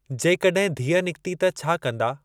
जेकॾहिं धीअ निकिती त छा कंदा?